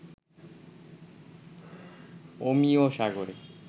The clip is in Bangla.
অমিয় সাগরে